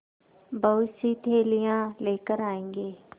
बहुतसी थैलियाँ लेकर आएँगे